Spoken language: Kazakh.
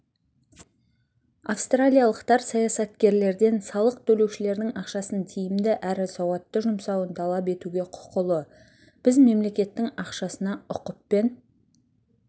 австралиялықтар саясаткерлерден салық төлеушілердің ақшасын тиімді әрі сауатты жұмсауын талап етуге құқылы біз мемлекеттің ақшасына ұқыппен